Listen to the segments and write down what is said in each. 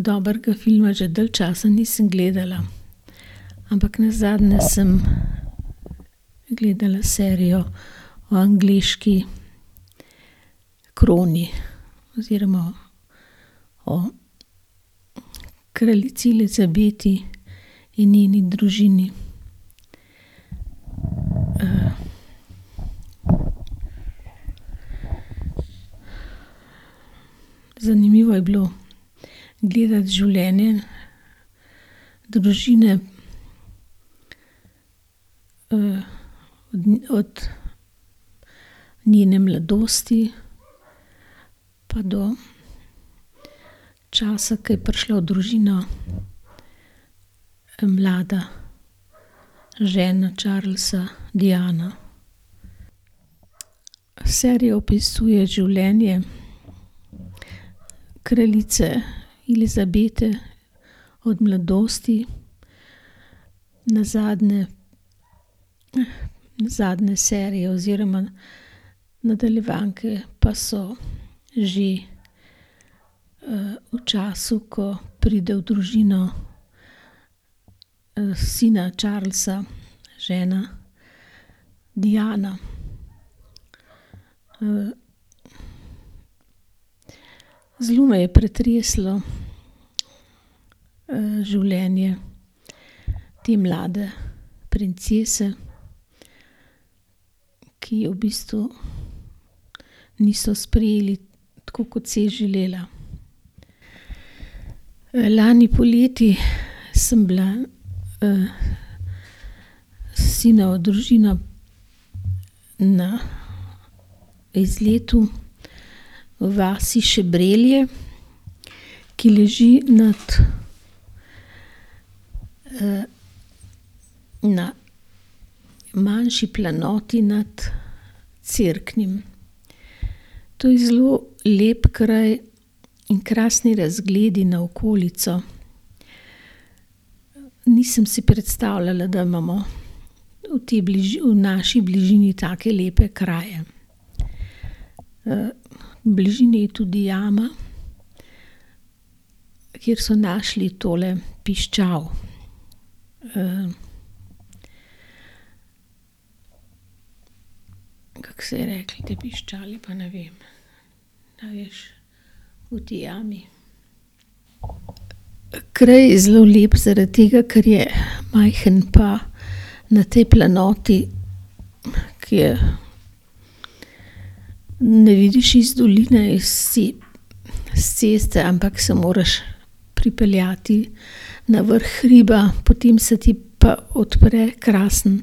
Dobrega filma že dalj časa nisem gledala. Ampak nazadnje sem gledala serijo o angleški kroni oziroma o kraljici Elizabeti in njeni družini. Zanimivo je bilo gledati življenje družine, od njene mladosti pa do časa, ke je prišla v družino mlada žena Charlesa, Diana. Serija opisuje življenje kraljice Elizabete od mladosti, nazadnje, nazadnje serije oziroma nadaljevanke pa so že, v času, ko pride v družino, sina Charlesa žena Diana. zelo me je pretreslo, življenje te mlade princese, ki je v bistvu niso sprejeli tako, kot si je želela. lani poleti sem bila, s sinovo družino na izletu v vasi Šebrelje, ki leži nad, na manjši planoti nad Cerknim. To je zelo lep kraj in krasni razgledi na okolico. Nisem si predstavljala, da imamo v tej v naši bližini take lepe kraje. v bližini je tudi jama, kjer so našli tole piščal. kako se je rekli tej piščali, pa ne vem. A veš? V tej jami. Kraj je zelo lep zaradi tega, ker je majhen pa na tej planoti, ke je ne vidiš iz doline, s s ceste, ampak se moraš pripeljati na vrh hriba, potem se ti pa odpre krasen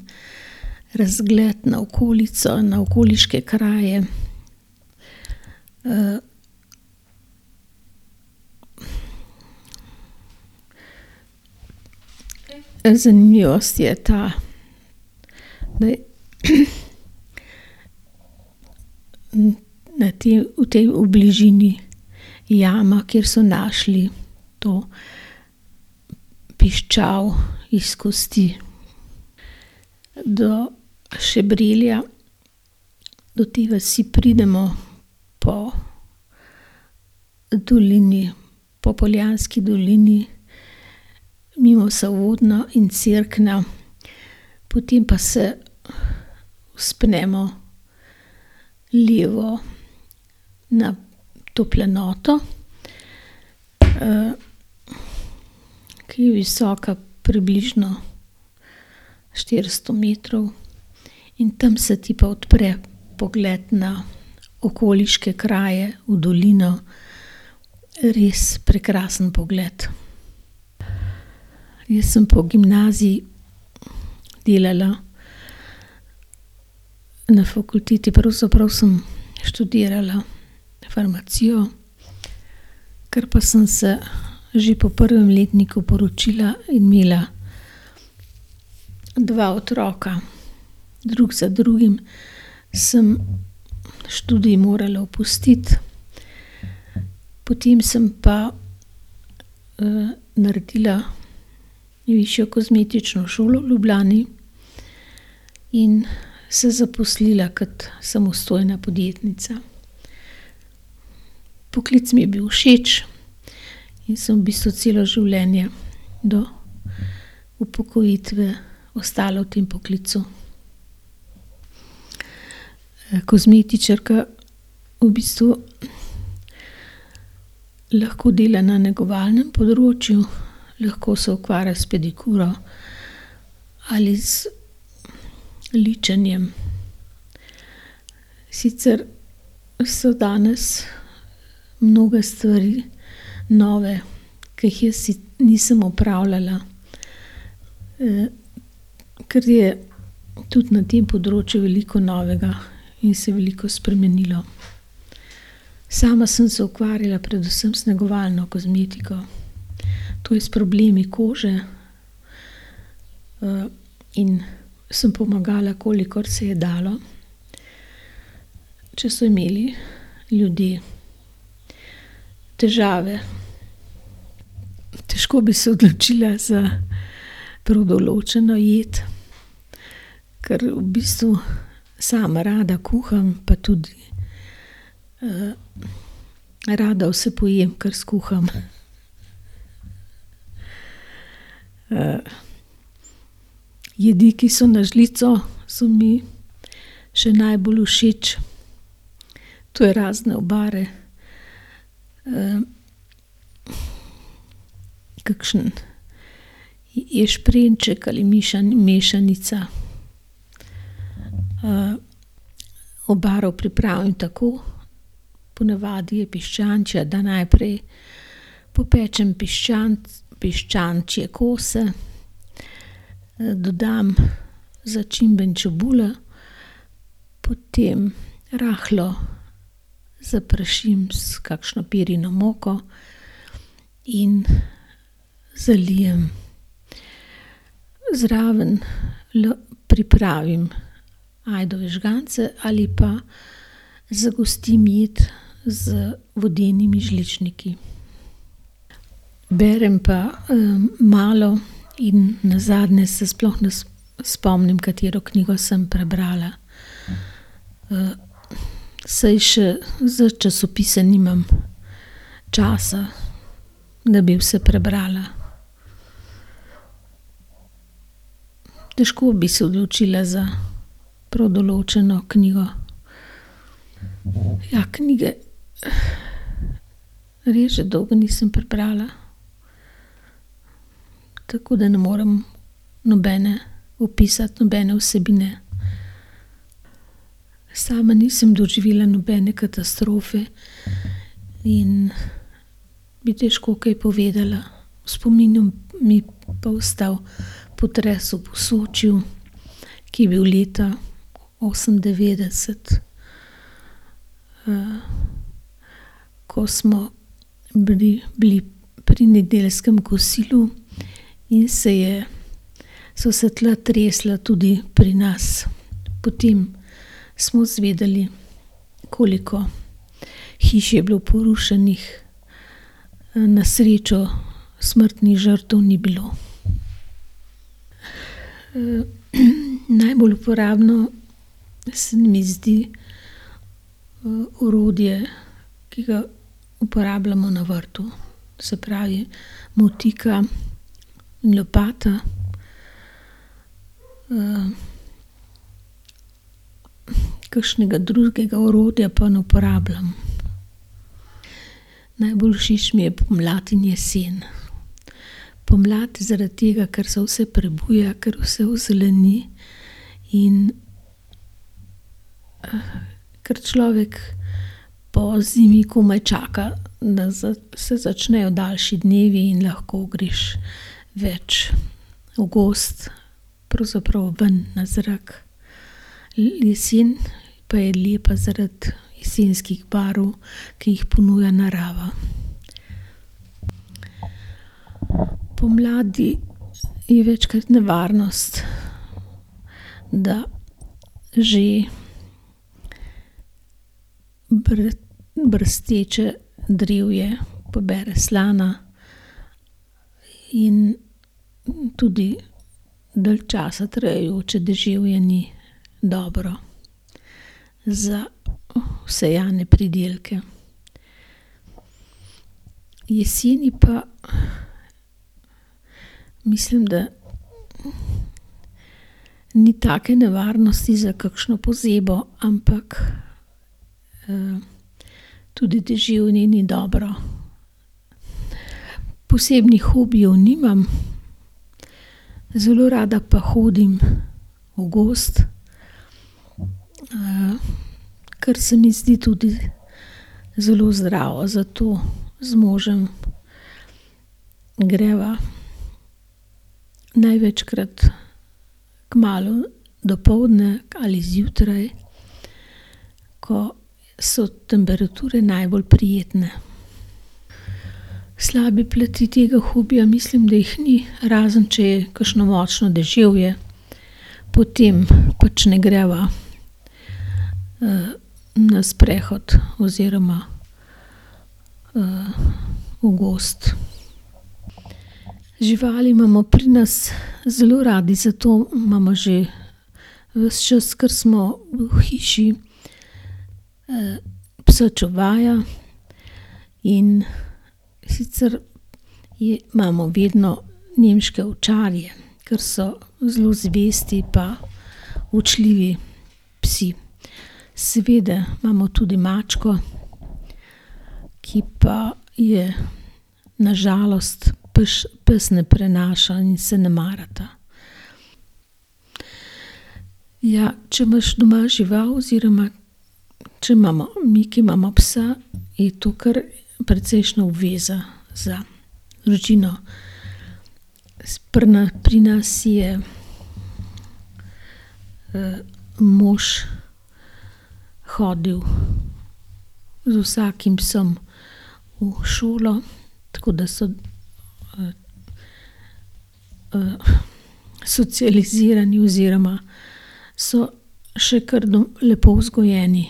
razgled na okolico, na okoliške kraje. Zanimivost je ta, da je na tej, v tej, v bližini jama, kjer so našli to piščal iz kosti. Do Šebrelja, do te vasi pridemo po dolini, po Poljanski dolini, mimo Sovodnja in Cerkna. Potem pa se vzpnemo levo na to planoto, ki je visoka približno štiristo metrov. In tam se ti pa odpre pogled na okoliške kraje, v dolino. Res prekrasen pogled. Jaz sem pa v gimnaziji delala na fakulteti, pravzaprav sem študirala farmacijo. Kar pa sem se že po prvem letniku poročila in imela dva otroka drug za drugim, sem študij morala opustiti. Potem sem pa, naredila višjo kozmetično šolo v Ljubljani in se zaposlila kot samostojna podjetnica. Poklic mi je bil všeč in sem v bistvu celo življenje do upokojitve ostala v tem poklicu. kozmetičarka v bistvu lahko dela na negovalnem področju, lahko se ukvarja s pedikuro ali z ličenjem. Sicer so danes mnoge stvari nove, ke jih jaz nisem opravljala. ker je tudi na tem področju veliko novega in se je veliko spremenilo. Sama sem se ukvarjala predvsem z negovalno kozmetiko, to je s problemi kože, in sem pomagala, kolikor se je dalo, če so imeli ljudje težave. Težko bi se odločila za prav določeno jed, ker v bistvu sama rada kuham pa tudi, rada vse pojem, kar skuham. jedi, ki so na žlico, so mi še najbolj všeč. To je razne obare, kakšen ješprenjček ali mešanica. obaro pripravim tako, po navadi je piščančja, da najprej popečem piščančje kose, dodam začimbe in čebulo. Potem rahlo zaprašim s kakšno pirino moko in zalijem. Zraven pripravim ajdove žgance ali pa zgostim jed z vodenimi žličniki. Berem pa, malo in nazadnje s sploh ne spomnim, katero knjigo sem prebrala. saj še za časopise nimam časa, da bi vse prebrala. Težko bi se odločila za prav določeno knjigo. Ja, knjige res že dolgo nisem prebrala. Tako da ne morem nobene opisati, nobene vsebine. Sama nisem doživela nobene katastrofe in bi težko kaj povedala. V spominu mi je pa ostal potres v Posočju, ki je bil leta osemindevetdeset. ko smo bili, bili pri nedeljskem kosilu in se je, so se tla tresla tudi pri nas. Potem smo izvedeli, koliko hiš je bilo porušenih. na srečo smrtnih žrtev ni bilo. najbolj uporabno se mi zdi, orodje, ki ga uporabljamo na vrtu. Se pravi motika in lopata. Kakšnega drugega orodja pa ne uporabljam. Najbolj všeč mi je pomlad in jesen. Pomlad zaradi tega, ker se vse prebuja, ker vse ozeleni in ker človek po zimi komaj čaka, da se začnejo daljši dnevi in lahko greš več v gozd, pravzaprav ven, na zrak. jesen pa je lepa zaradi jesenskih barv, ki jih ponuja narava. Pomladi je večkrat nevarnost, da že brsteče drevje pobere slana in tudi dalj časa trajajoče deževje ni dobro za vsejane pridelke. Jeseni pa mislim, da ni take nevarnosti za kakšno pozebo, ampak, tudi deževje ni dobro. Posebnih hobijev nimam, zelo rada pa hodim v gozd. ker se mi zdi tudi zelo zdravo. Zato z možem greva največkrat kmalu dopoldne ali zjutraj, ko so temperature najbolj prijetne. Slabe plati tega hobija, mislim, da jih ni. Razen če je kakšno močno deževje, potem pač ne greva, na sprehod oziroma, v gozd. Živali imamo pri nas zelo radi, zato imamo že ves čas, kar smo v hiši, psa čuvaja, in sicer imamo vedno nemške ovčarje, ker so zelo zvesti pa učljivi psi. Seveda imamo tudi mačko, ki pa je na žalost pes ne prenaša in se ne marata. Ja, če imaš doma žival oziroma če imamo, mi, ki imamo psa, je to kar precejšnja obveza za družino. S pri pri nas je, mož hodil z vsakim psom v šolo, tako da so, socializirani oziroma so še kar lepo vzgojeni.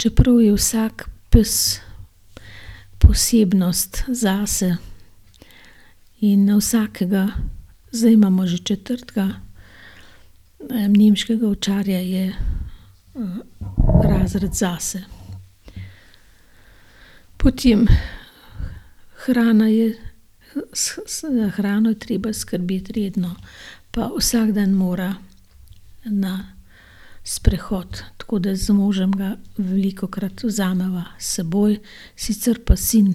Čeprav je vsak pes posebnost zase in vsakega, zdaj imamo že četrtega, nemškega ovčarja, je razred zase. Potem hrana je, s, hrano je treba skrbeti redno. Pa vsak dan mora na sprehod. Tako da z možem ga velikokrat vzameva s seboj, sicer pa sin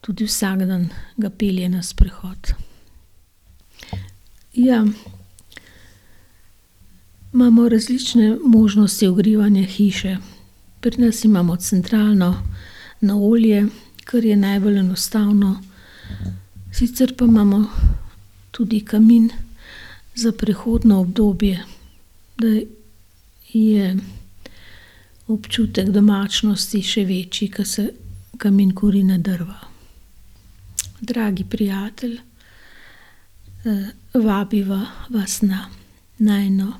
tudi vsak dan ga pelje na sprehod. Ja, imamo različne možnosti ogrevanja hiše. Pri nas imamo centralno na olje, kar je najbolj enostavno. Sicer pa imamo tudi kamin za prehodno obdobje, da je občutek domačnosti še večji, ko se kamin kuri na drva. Dragi prijatelj, vabiva vas na najino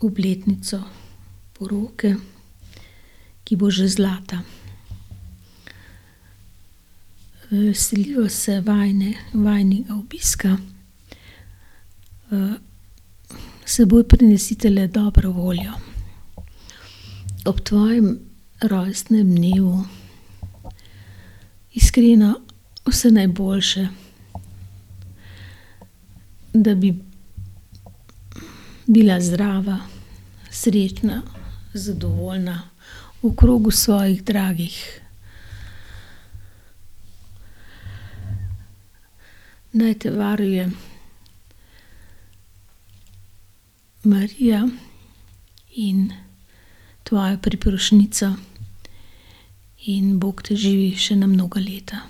obletnico poroke, ki bo že zlata. veseliva se vajinega obiska. s seboj prinesite le dobro voljo. Ob tvojem rojstnem dnevu iskreno vse najboljše. Da bi bila zdrava, srečna, zadovoljna v krogu svojih dragih. Naj te varuje Marija in tvoja priprošnjica in Bog te živi še na mnoga leta.